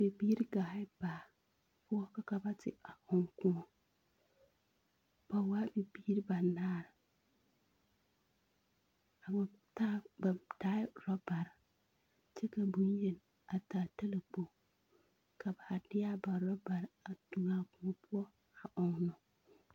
Biiri gaaɛ baa poɔ ka ka ba te a ɔŋ kõɔ. Ba waa bibiiri banaar. A wa taa ba taaɛ orɔbar, kyɛ ka boŋyen a taa talakpoŋ. Ka ba haa de a ba orɔbar a tuŋaa kõɔ poɔ a ɔŋnɔ.